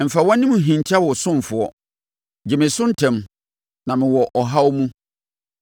Mfa wʼanim nhinta wo ɔsomfoɔ; gye me so ntɛm, na mewɔ ɔhaw mu.